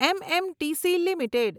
MMTC limited